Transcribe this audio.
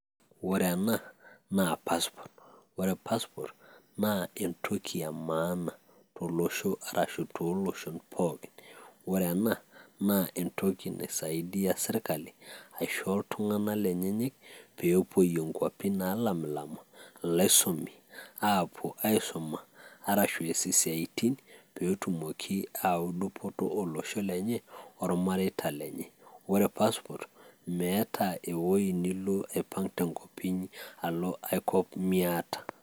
ore ena naa passport ore passport naa entoki emaana, tolosho, arashu tooloshon pookin, ore ena naa entoki naisidia sirkali, aisho iltung'anak lenyenyek pee epuoiyie inkuapi, naalamilama, pee eisumi, aapuo aisuma, arshu eesie isiatin ,pee etumoki aayau dupoto olosho le lenye, olamireita lenye, ore passport meeta ewueji nilo, aipang' te nkop inyi, alo aipang' miata.